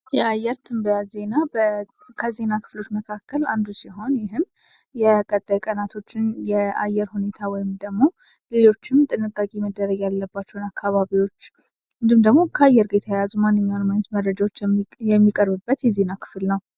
የአየር ትንበያ ዜና ከዜና ክፍሎች ውስጥ አንዱ ሲሆን ይህም የቀጣይ ቀኖችን የአየር ሁኔታ እንዲሁም ደግሞ ሌሎችም ጥንቃቄዎችን ፣ጥንቃቄ የሚያስፈልጋቸውን አካባቢዎች እንዲሁም ደግሞ ከአየር ጋር የተያያዘ ማነኛውም ነገር የሚቀርብበት ክፍል ነው።